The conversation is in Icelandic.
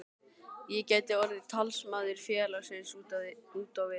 Ég gæti orðið talsmaður félagsins út á við.